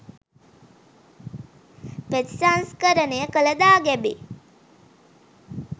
ප්‍රතිසංස්කරණය කළ දාගැබේ